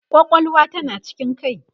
kwakwalwa tana cikin kai